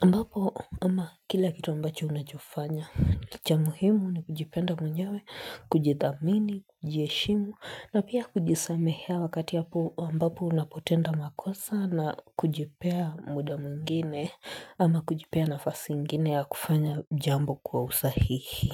ambapo ama kila kitu ambacho unachofanya Licha muhimu ni kujipenda mwenyewe, kujidhamini, kujiheshimu na pia kujisamehea wakati ambapo unapotenda makosa na kujipea muda mwingine ama kujipea nafasi ingine ya kufanya jambo kwa usahihi.